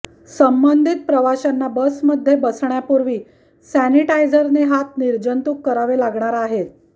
संबंधित प्रवाशांना बसमध्ये बसण्यापूर्वी सॅनीटायझरने हात निर्जंतुक करावे लागणार आहेत